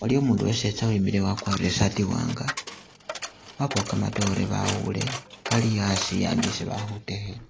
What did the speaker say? waliwo umundu uwe setsa uwimile wakwarire isaati iwanga, wabawo kamatoore bawuule kali asi ambi isi bali khutekhela.